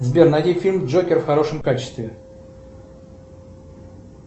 сбер найди фильм джокер в хорошем качестве